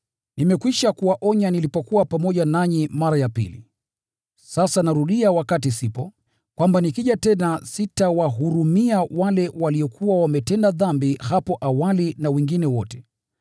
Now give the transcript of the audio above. Nimekwisha kuwaonya nilipokuwa pamoja nanyi mara ya pili. Sasa narudia wakati sipo, kwamba nikija tena sitawahurumia wale waliokuwa wametenda dhambi hapo awali na wengine wote,